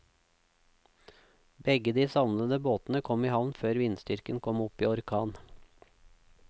Begge de savnede båtene kom i havn før vindstyrken kom opp i orkan.